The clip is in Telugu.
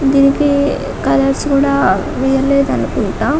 దీనికి కలర్స్ కూడా వేయలేదు అనుకుంటా --